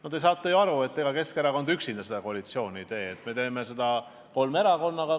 Aga te saate ju aru, et ega Keskerakond üksinda seda koalitsiooni ei tee, me teeme seda kolme erakonnaga.